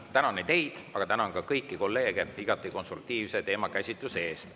Tänan teid ja tänan ka kõiki kolleege igati konstruktiivse teemakäsitluse eest.